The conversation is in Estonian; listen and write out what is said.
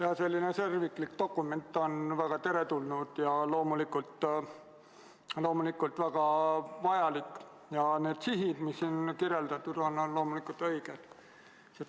Jaa, selline terviklik dokument on väga teretulnud ja loomulikult väga vajalik ja need sihid, mis siin kirjeldatud on, on loomulikult õiged.